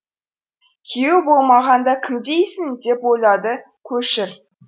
күйеуі болмағанда кім дейсің деп ойлады көшір